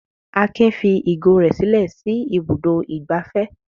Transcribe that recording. Akin fi ìgò rẹ̀ sílẹ̀ sí Ibùdó-ìgbafẹ́?